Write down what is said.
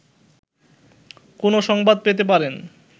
কোনো সংবাদ পেতে পারেন